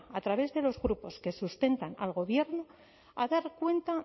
a través de los grupos que sustentan al gobierno a dar cuenta